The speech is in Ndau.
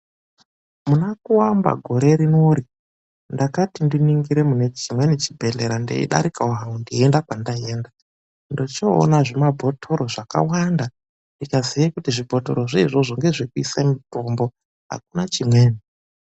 MUNAKUAMBA GORE RINORI, NDAKATI NDININGIRE MUNE CHIMWENI CHIBEHLERA NDEIDARIKAWO HANGU NDEIENDA KWANDAIENDA NDOCHOONA ZVIMABHOTORO ZVAKAWANDA, NDIKAZIYE KUTI ZVIBOTORO ZVOIZVOZVO NGEZVEKUISE MITOMBO AKUNA CHIMWENI.